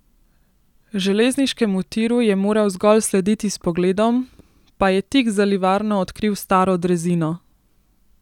Železniškemu tiru je moral zgolj slediti s pogledom, pa je tik za livarno odkril staro drezino.